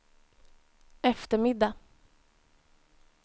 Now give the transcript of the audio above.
eftermiddag